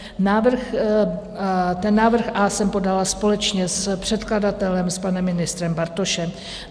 Návrh A jsem podala společně s předkladatelem, s panem ministrem Bartošem.